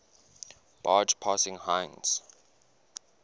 barge passing heinz